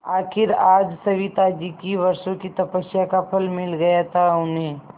आखिर आज सविताजी की वर्षों की तपस्या का फल मिल गया था उन्हें